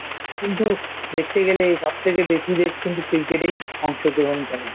কিন্তু দেখতে গেলেই সবথেকে বেশি দেশ কিন্তু Cricket এই অংশগ্রহণ করে